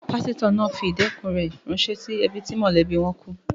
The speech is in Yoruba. Pásítọ̀ náà fi ìkẹ́dùn rẹ̀ ránṣẹ́ sí ẹbí tí mọ́lẹ̀bi wọn kú.